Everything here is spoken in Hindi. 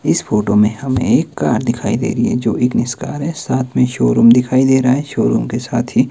इस फोटो में हमें एक कार दिखाई दे रही है जो इग्निस कार है साथ में शोरूम दिखाई दे रहा है शोरूम के साथ ही --